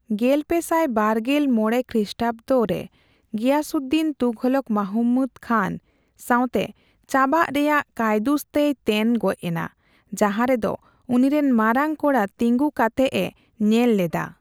ᱜᱮᱞᱯᱮ ᱥᱟᱭ ᱵᱟᱨᱜᱮᱞ ᱢᱚᱲᱮ ᱠᱷᱮᱥᱴᱟᱵᱫᱮ ᱜᱤᱭᱟᱥᱩᱰᱰᱤᱱ ᱛᱩᱜᱷᱞᱠ ᱢᱟᱦᱢᱩᱫ ᱠᱷᱟᱱᱼ ᱥᱟᱣᱛᱮ ᱪᱟᱵᱟᱜ ᱨᱮᱭᱟᱜ ᱠᱟᱹᱭᱫᱩᱥ ᱛᱮᱭ ᱛᱮᱱ ᱜᱚᱭ ᱮᱱᱟ, ᱡᱟᱦᱟᱨᱮ ᱫᱚ ᱩᱱᱤᱨᱮᱱ ᱢᱟᱨᱟᱝ ᱠᱚᱲᱟ ᱛᱮᱸᱜᱩ ᱠᱟᱛᱮᱜ ᱮ ᱧᱮᱞ ᱞᱮᱫᱟ ᱾